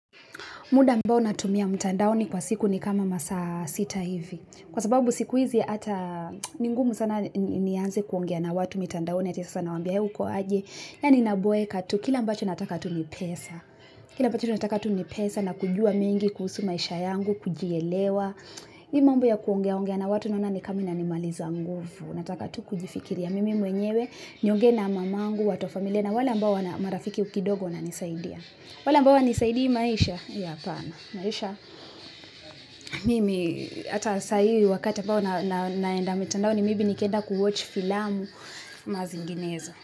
Muda ambao natumia mtandaoni kwa siku ni kama masaa sita hivi. Kwa sababu siku hizi hata ni ngumu sana nianze kuongea na watu mitandaoni ati sasa nawambia hey uko aje. Yaani naboeka tu kila ambacho nataka tu ni pesa. Kila ambacho nataka tu ni pesa na kujua mengi kuhusu maisha yangu, kujielewa. Hii mambo ya kuongea ongea na watu naona ni kama inanimaliza nguvu. Nataka tu kujifikiria mimi mwenyewe nionge na mamangu, watu wa familia na wale ambao ni marafiki kidogo wananisaidia. Wale ambao hawanisaidii maisha hiyo apana. Maisha, mimi hata sai wakati ambao naenda mitandaoni may be nikienda kuwatch filamu ama zinginezo.